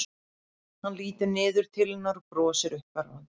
Hann lítur niður til hennar og brosir uppörvandi.